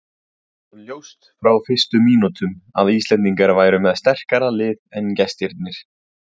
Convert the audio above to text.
Það var ljóst frá fyrstu mínútum að Íslendingar væru með sterkara lið en gestirnir.